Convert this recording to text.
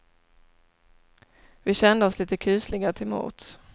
Vi kände oss lite kusliga till mods.